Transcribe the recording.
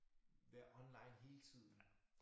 Være online hele tiden